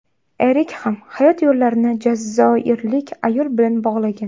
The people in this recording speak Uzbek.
Erik ham hayot yo‘llarini jazoirlik ayol bilan bog‘lagan.